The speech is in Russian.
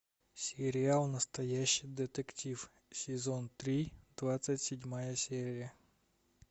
сериал настоящий детектив сезон три двадцать седьмая серия